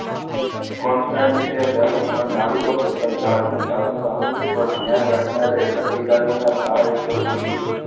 કોન્સ્ટેનીજીયા જહાજ પર નાવીકો તથા જહાજ ની સાધન સામગ્રી પર ધ્યાન રાખનાર એક અધિકારીના સહાયકે પૂછ્યું